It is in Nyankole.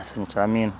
asinikire amaino